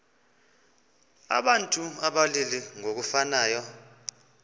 abantu abalili ngokufanayo